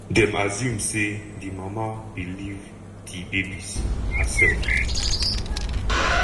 dem assume say di mama bin leave di babies herself.